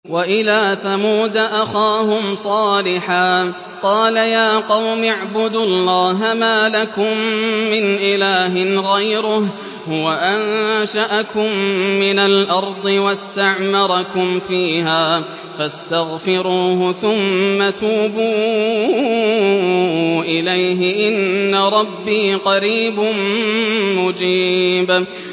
۞ وَإِلَىٰ ثَمُودَ أَخَاهُمْ صَالِحًا ۚ قَالَ يَا قَوْمِ اعْبُدُوا اللَّهَ مَا لَكُم مِّنْ إِلَٰهٍ غَيْرُهُ ۖ هُوَ أَنشَأَكُم مِّنَ الْأَرْضِ وَاسْتَعْمَرَكُمْ فِيهَا فَاسْتَغْفِرُوهُ ثُمَّ تُوبُوا إِلَيْهِ ۚ إِنَّ رَبِّي قَرِيبٌ مُّجِيبٌ